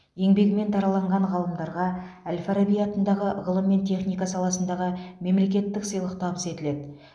еңбегімен дараланған ғалымдарға әл фараби атындағы ғылым мен техника саласындағы мемлекеттік сыйлық табыс етіледі